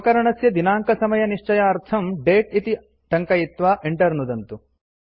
उपकरणस्य दिनाङ्कसमयनिश्चयार्थम् दते इति टङ्कयित्वा enter नुदन्तु